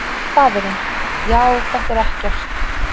Faðirinn: Já, þetta er ekkert.